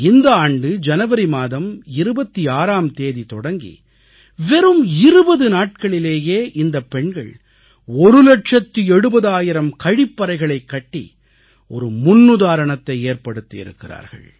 இந்த ஆண்டு ஜனவரி மாதம் 26ஆம் தேதி தொடங்கி வெறும் 20 நாட்களிலேயே இந்தப் பெண்கள் ஒரு லட்சத்து எழுபதாயிரம் கழிப்பறைகளைக் கட்டி ஒரு முன்னுதாரணத்தை ஏற்படுத்தி இருக்கிறார்கள்